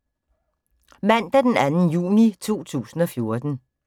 Mandag d. 2. juni 2014